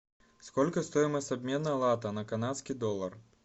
сколько стоимость обмена лата на канадский доллар